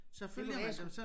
Det kunne være jeg skulle